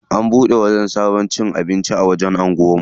An bude sabon wajen cin abinci a anguwan mu.